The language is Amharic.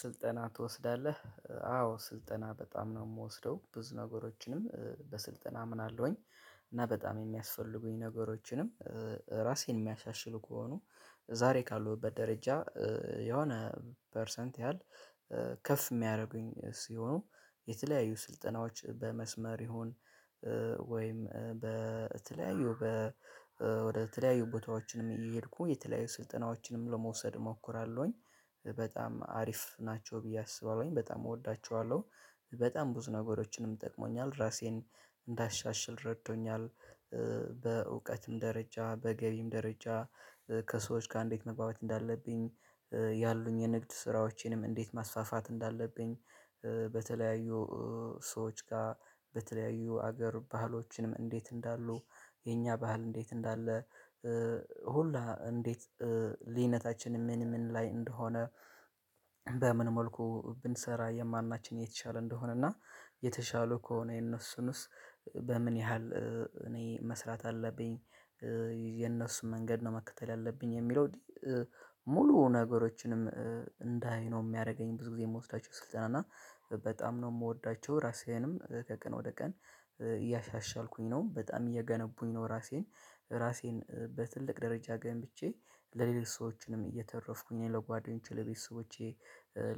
ስልጠና ትወስዳለህ አዎ ስልጠና በጣም ነው የምወስደው። ብዙ ነገሮችንም በስልጠና አምናለሁኝ እና በጣም የሚያስፈልጉኝ ነገሮችንም። ራሴን የሚያሻሽሉ ከሆኑ ዛሬ ካለሁበት ደረጃ የሆነ ፐርሰንት ያህል። ከፍ የሚያደርጉኝ ሲሆኑ የተለያዩ ስልጠናዎች በመስመር ይሁን ወይም በተለያዩ በ ወደ ተለያዩ ቦታዎችንም እየሄድኩ የተለያዩ ስልጠናዎችንም ለመውሰድ እሞክራለሁኝ። በጣም አሪፍ ናቸው ብዬ አስባለሁኝ በጣም እወዳቸዋለሁ። በጣም ብዙ ነገሮችንም ጠቅሞኛል ራሴን እንዳሻሽል ረዶኛል። በእውቀትም ደረጃ በገቢም ደረጃ ከሰዎች ጋር እንዴት መግባባት እንዳለብኝ ያሉኝ የንግድ ስራዎቼንም እንዴት ማስፋፋት እንዳለብኝ። በተለያዩ ሰዎች ጋር በተለያዩ ሀገር ባህሎችንም እንዴት እንዳሉ የኛ ባህል እንዴት እንዳለ ሁላ እንዴት ልዩነታችን ምን ምን ላይ እንደሆነ። በምን መልኩ ብንሰራ የማናችን የተሻለ እንደሆነ እና የተሻለ ከሆነ የነሱንስ በምን ያህል እኔ መስራት አለብኝ። የነሱን መንገድ ነው መከተል ያለብኝ የሚለው። ሙሉ ነገሮችንም እንዳይ ነው የሚያረገኝ ብዙ ጊዜ የምወስዳቸው ስልጠና እና በጣም ነው የምወዳቸው። ራሴንም ከቀን ወደ ቀን እያሻሻልኩኝ ነው በጣም እየገነቡኝ ነው። ራሴን ራሴን በትልቅ ደረጃ ገምብቼ ለሌሎች ሰዎችንም እየተረፍኩኝ ለጓደኞቼ ለቤተሰቦቼ